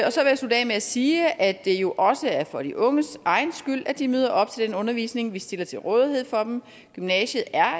med at sige at det jo også er for de unges egen skyld at de møder op til den undervisning vi stiller til rådighed for dem gymnasiet er